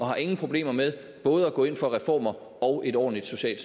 har ingen problemer med både at gå ind for reformer og et ordentligt socialt